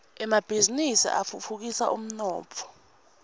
emabhizinisi atfutfukisa umnotfo